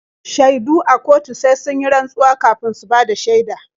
Shaidu a kotu sai sun yi rantsuwa kafin su bada shaida.